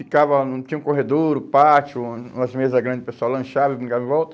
ficava... Não tinha um corredor, um pátio, uma umas mesa grande, o pessoal lanchava e brincava em volta.